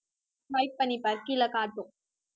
swipe பண்ணி பாரு, கீழே காட்டும்.